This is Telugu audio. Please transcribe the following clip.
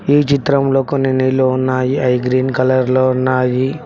ఈ చిత్రంలో కొన్ని నీళ్లు ఉన్నాయి అయి గ్రీన్ కలర్ లో ఉన్నాయి.